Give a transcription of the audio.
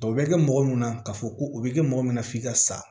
O bɛ kɛ mɔgɔ mun na k'a fɔ ko o bɛ kɛ mɔgɔ min na f'i ka sa